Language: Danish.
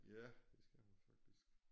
Ja det skal man faktisk